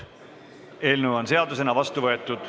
Eelnõu on seadusena vastu võetud.